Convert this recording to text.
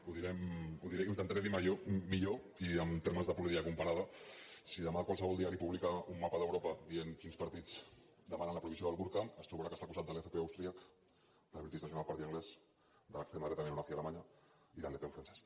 ho intentaré dir ho millor i en termes de política comparada si demà qualsevol diari publica un mapa d’europa dient quins partits demanen la prohibició del burca es trobarà que està al costat de l’fpö austríac del british national party anglès de l’extrema dreta neonazi alemanya i del le pen francès